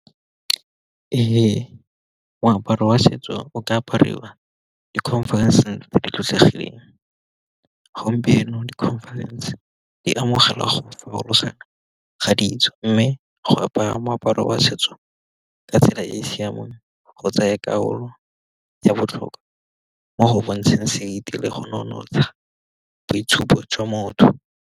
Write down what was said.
Ee, moaparo wa setso o ka apariwa dikhonferense tse di tlotlegileng, gompieno dikhonferense di amogelwa go farologana ga di ditso mme go apara moaparo wa setso, ka tsela e e siameng go tsaya karolo ya botlhokwa mo go bontshang go nonotsha boitshupo jwa motho.